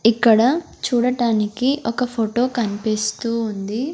ఇక్కడ చూడటానికి ఒక ఫోటో కనిపిస్తూ ఉంది.